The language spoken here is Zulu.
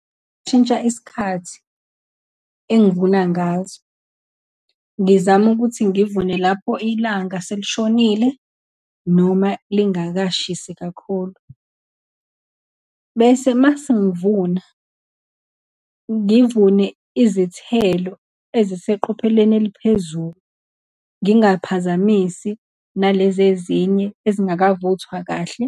Ngingashintsha isikhathi engivuna ngaso, ngizame ukuthi ngivune lapho ilanga selishonile, noma lingakashisi kakhulu. Bese uma sengivuna, ngivune izithelo eziseqopheleni eliphezulu, ngingaphazamisi nalezi ezinye ezingakavuthwa kahle,